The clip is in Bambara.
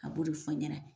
A b'o de fɔ n ɲɛna